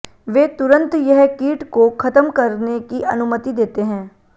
वे तुरंत यह कीट को खत्म करने की अनुमति देते हैं